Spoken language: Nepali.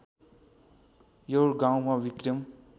यो गाउँमा विक्रम